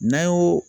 N'an y'o